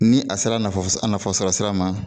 Ni a sera nafa sɔrɔ sira ma